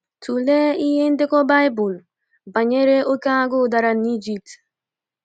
Tụlee ihe ndekọ baịbụl banyere oké agụụ dara n’Ijipt.